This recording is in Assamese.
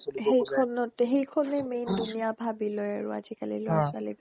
সেইখনত এ সেইখনে main দুনীয়া ভাৱি লই আৰু আজিকালিৰ ল্'ৰা ছোৱালীবিলাকে